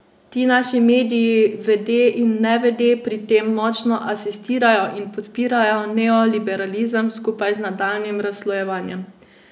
Ti naši mediji vede in nevede pri tem močno asistirajo in podpirajo neoliberalizem skupaj z nadaljnjim razslojevanjem.